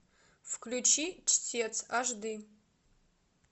включи чтец аш ди